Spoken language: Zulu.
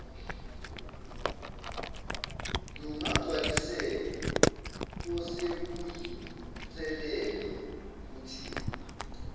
lungagcwaliseka osekuyinselelo kuthina